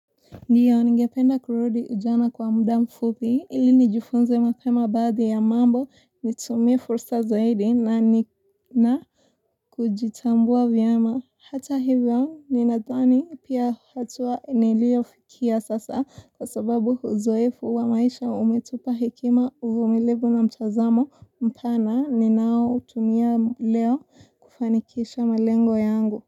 Ndiyo ningependa kurudi ujana kwa muda mfupi ili nijifunze mapema baadhi ya mambo nitumie fursa zaidi na nina kujitambua vyama hata hivyo ninatwani pia hatua niliofikia sasa kwa sababu huzoefu wa maisha umetupa hekima uvumilivu na mtazamo mpana ninao utumia leo kufanikisha malengo yangu.